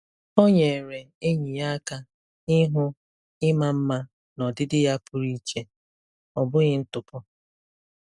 Ọ nyeere enyi ya aka ịhụ ịma mma n'ọdịdị ya pụrụ iche, ọ bụghị ntụpọ.